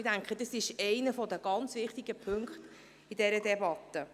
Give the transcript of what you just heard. Ich denke, dies ist einer der wichtigen Punkte in dieser Debatte.